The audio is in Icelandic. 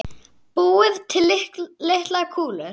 Búið til litlar kúlur.